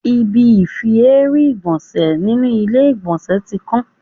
Ibi ifi èérún ìgbọ̀nsẹ̀ nínú ilé ìgbọ̀nsẹ̀ tí kán.